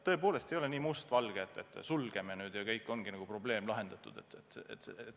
Tõepoolest ei ole nii must-valge, et sulgeme konto ja ongi probleem lahendatud.